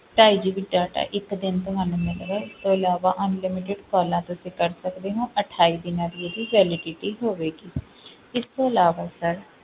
ਢਾਈ GB data ਇੱਕ ਦਿਨ ਤੁਹਾਨੂੰ ਮਿਲੇਗਾ, ਇਸ ਤੋਂ ਇਲਾਵਾ unlimited calls ਤੁਸੀਂ ਕਰ ਸਕਦੇ ਹੋ ਅਠਾਈ ਦਿਨਾਂ ਦੀ ਇਹਦੀ validity ਹੋਵੇਗੀ ਇਸ ਤੋਂ ਇਲਾਵਾ sir